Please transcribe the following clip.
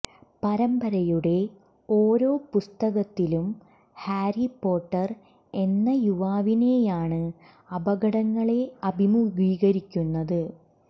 പരമ്പരയുടെ ഓരോ പുസ്തകത്തിലും ഹാരി പോട്ടർ എന്ന യുവാവിനെയാണ് അപകടങ്ങളെ അഭിമുഖീകരിക്കുന്നത്